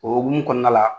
O hukumu kɔnɔna la